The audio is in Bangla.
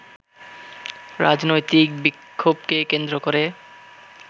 রাজনৈতিক বিক্ষোভকে কেন্দ্র করে